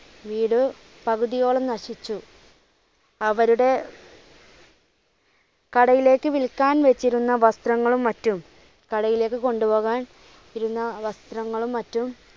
വീട് പകുതിയോളം നശിച്ചു. അവരുടെ കടയിലേക്ക് വിൽക്കാൻ വെച്ചിരുന്ന വസ്ത്രങ്ങളും മറ്റും കടയിലേക്ക് കൊണ്ടു പോകാൻ ഇരുന്ന വസ്ത്രങ്ങളും മറ്റും,